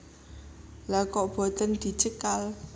Lha kok boten dicekal